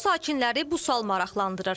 Bütün sakinləri bu sual maraqlandırır.